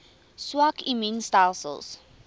swak immuun stelsels